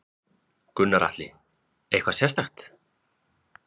Gunnar Atli: Eitthvað sérstakt?